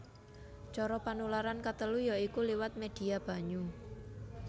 Cara panularan katelu ya iku liwat médhia banyu